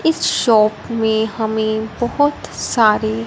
इस शॉप में हमे बहोंत सारी--